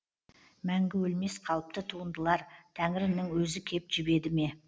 мәңгі өлмес қалыпты туындылар тәңірінің өзі кеп жебеді ме